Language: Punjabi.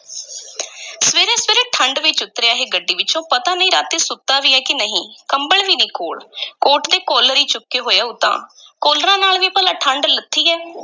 ਸਵੇਰੇ-ਸਵੇਰੇ ਠੰਢ ਵਿੱਚ ਉੱਤਰਿਆ ਇਹ ਗੱਡੀ ਵਿੱਚੋਂ, ਪਤਾ ਨਹੀਂ ਰਾਤੀਂ ਸੁੱਤਾ ਵੀ ਐ ਕਿ ਨਹੀਂ, ਕੰਬਲ ਵੀ ਨਹੀਂ ਕੋਲ ਕੋਟ ਦੇ ਕਾਲਰ ਈ ਚੁੱਕੇ ਹੋਏ ਹੈ ਉਤਾਂਹ ਕਾਲਰਾਂ ਨਾਲ ਵੀ ਭਲਾ ਠੰਢ ਲੱਥੀ ਹੈ।